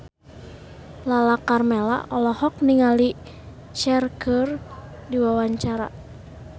Lala Karmela olohok ningali Cher keur diwawancara